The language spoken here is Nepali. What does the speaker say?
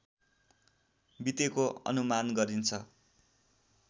बितेको अनुमान गरिन्छ